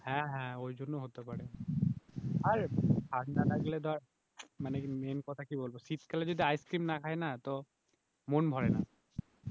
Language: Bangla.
হ্যাঁ হ্যাঁ ওই জন্য হতে পারে, আর ঠান্ডা লাগলে ধর মানে মেইন কথা কি বলব শীতকালে যদি আইস ক্রিম না খাই না তো মন ভরে না